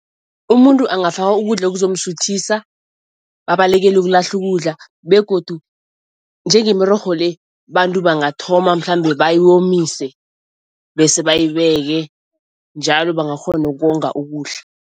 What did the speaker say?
Umuntu angafaka ukudla ekuzomsuthisa babalekele ukulahla ukudla begodu njenge mirorho le bantu bangathoma mhlambe bayomise bese bayibeke, njalo bangakghona ukonga ukudla.